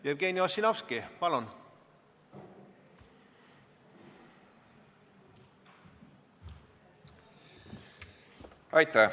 Jevgeni Ossinovski, palun!